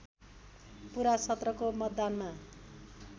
पुरा सत्रको मतदानमा